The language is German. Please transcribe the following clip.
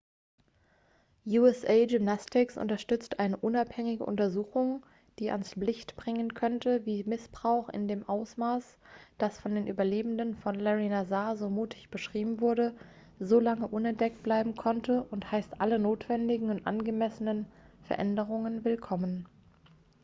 usa gymnastics unterstützt eine unabhängige untersuchung die ans licht bringen könnte wie missbrauch in dem ausmaß das von den überlebenden von lary nassar so mutig beschrieben wurde so lange unentdeckt bleiben konnte und heißt alle notwendigen und angemessenen veränderungen willkommen